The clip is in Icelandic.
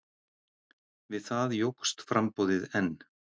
Við það jókst framboðið enn.